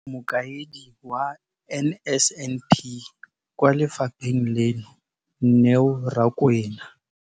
Mokaedi wa NSNP kwa lefapheng leno, Neo Rakwena,